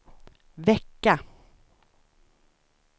vecka